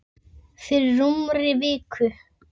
Fyrir rúmri viku.